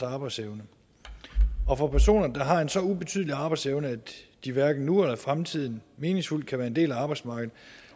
arbejdsevne og for personer der har en så ubetydelig arbejdsevne at de hverken nu eller i fremtiden meningsfuldt kan være en del af arbejdsmarkedet